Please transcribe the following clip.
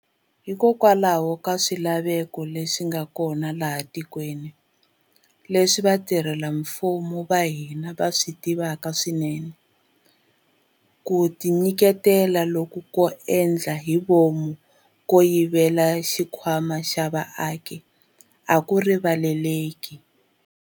Hikokwalaho ka swilaveko leswi nga kona laha etikweni, leswi vatirhela mfumo va hina va swi tivaka swinene, ku tinyiketela loku ko endla hi vomu ko yivela xikhwama xa vaaki a ku rivaleleki.